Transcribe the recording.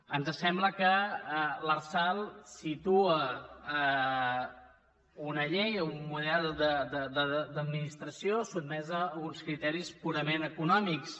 ens sembla que l’arsal situa una llei un model d’administració sotmesa a uns criteris purament econòmics